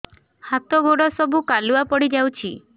ହାତ ଗୋଡ ସବୁ କାଲୁଆ ପଡି ଯାଉଛି